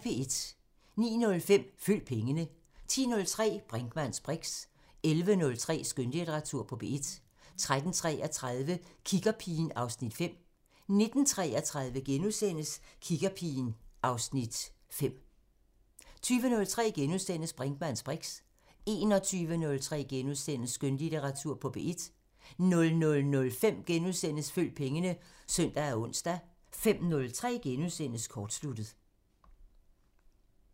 09:05: Følg pengene 10:03: Brinkmanns briks 11:03: Skønlitteratur på P1 13:33: Kiggerpigen (Afs. 5) 19:33: Kiggerpigen (Afs. 5)* 20:03: Brinkmanns briks * 21:03: Skønlitteratur på P1 * 00:05: Følg pengene *(ons og søn) 05:03: Kortsluttet *